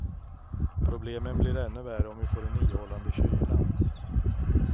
Problemen blir ännu värre om vi får en ihållande kyla.